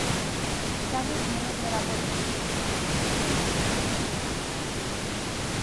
салют мне нужно работать